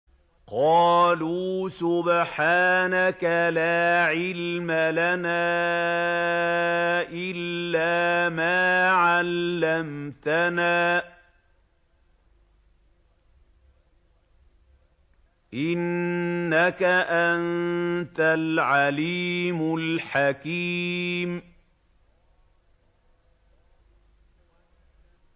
قَالُوا سُبْحَانَكَ لَا عِلْمَ لَنَا إِلَّا مَا عَلَّمْتَنَا ۖ إِنَّكَ أَنتَ الْعَلِيمُ الْحَكِيمُ